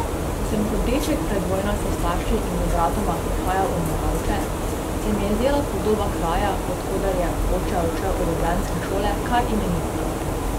Ko sem kot deček pred vojno s starši in z bratoma prihajal v Moravče, se mi je zdela podoba kraja, od koder je oče odšel v ljubljanske šole, kar imenitna.